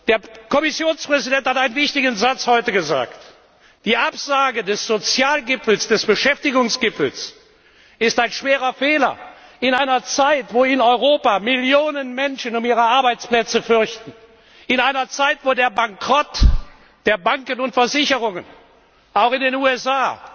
Der Kommissionspräsident hat heute einen wichtigen Satz gesagt Die Absage des Sozialgipfels des Beschäftigungsgipfels ist ein schwerer Fehler. In einer Zeit, in der Millionen Menschen in Europa um ihre Arbeitsplätze fürchten, in einer Zeit, in der der Bankrott der Banken und Versicherungen, auch in den USA,